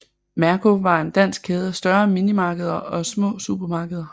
Merko var en dansk kæde af større minimarkeder og små supermarkeder